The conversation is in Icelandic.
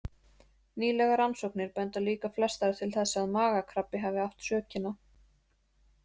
Nýlegar rannsóknir benda líka flestar til þess að magakrabbi hafi átt sökina.